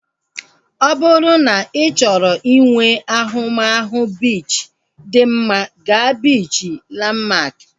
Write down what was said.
Ọ bụrụ na ị chọrọ inwe ahụmahụ biichi dị mma, gaa biichi Lanmak